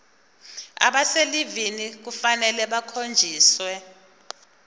abaselivini kufanele bakhonjiswe